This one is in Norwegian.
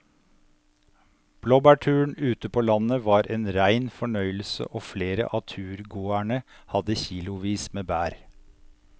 Blåbærturen ute på landet var en rein fornøyelse og flere av turgåerene hadde kilosvis med bær.